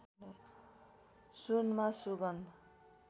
सुनमा सुगन्ध